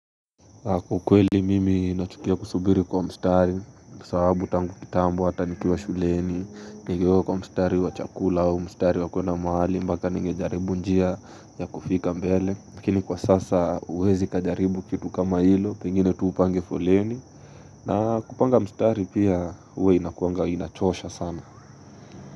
Kwa ukweli mimi nachukia kusubiri kwa mstari kwa sababu tangu kitambu ata nikuwa shuleni Nigewekwa kwa mstari wa chakula au mstari wa kuenda mahali mpaka ningejaribu njia ya kufika mbele lakini kwa sasa huwezi kajaribu kitu kama hilo pengine tu upange foleni na kupanga mstari pia huwa inakuanga inachosha sana.